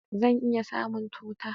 Zan iya samun tuta?